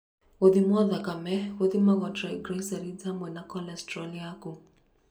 Gũthimo thakame gũthimagwo triglycerides hamwe na cholestrol yaku.